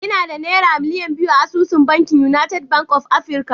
Ina da Naira miliyan biyu a asusun bankin United Bank of Africa